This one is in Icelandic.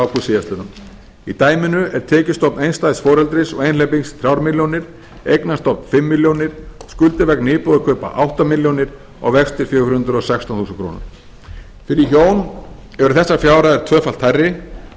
ágúst síðastliðinn í dæminu er tekjustofn einstæðs foreldris og einhleypings þrjár milljónir eignastofn fimm milljónir skuldir vegna íbúðarkaupa átta milljónir og vextir fjögur hundruð og sextán þúsund krónur fyrir hjón eru þessar fjárhæðir tvöfalt hærri